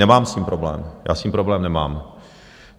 Nemám s tím problém, já s tím problém nemám.